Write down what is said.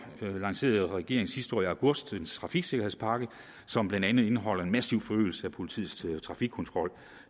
lancerede regeringen sidste år i august en trafiksikkerhedspakke som blandt andet indeholder en massiv forøgelse af politiets trafikkontrol